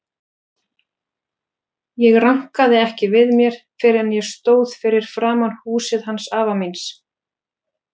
Ég rankaði ekki við mér fyrr en ég stóð fyrir framan húsið hans afa míns.